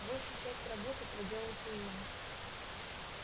большую часть работы проделал куинн